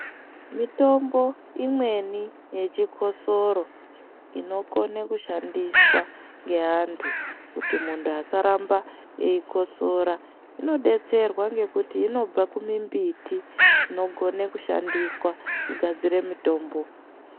Mitombo imweni yechikosoro inokona kushandiswa ngeandu kuti mundu asaramba eyikosora inodetserwa ngekuti inobva kumumbiti inogona kushandiswa kugadzira mitombo.